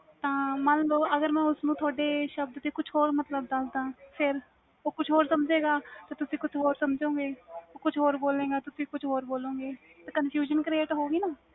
ਤਾ ਮਨ ਲੋ ਅਗਰ ਮੈਂ ਤੁਹਾਡੇ ਸ਼ਬਦ ਦੇ ਕੁਛ ਹੋਰ ਮਤਬਲ ਦਸ ਦਾ ਉਹ ਕੁਛ ਹੋਰ ਸਮਝੇ ਗਾ ਤੇ ਤੁਸੀ ਕੁਛ ਹੋਰ ਸਮਝਜੋ ਗਏ ਤੇ ਉਹ ਕੁਛ ਹੋਰ ਬੋਲੋ ਗਾ ਤੇ ਤੁਸੀ ਕੁਛ ਹੋਰ ਬੋਲੋ ਗਏ confusion create ਹੋ ਗੀ ਨਾ